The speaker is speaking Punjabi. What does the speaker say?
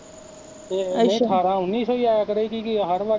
ਤੇ ਨਹੀਂ ਠਾਰਾਂ ਉਨੀ ਸੌ ਈ ਆਇਆ ਕਰੇਗੀ ਕੀ ਹਰ ਵਾਰੀ ਕਿ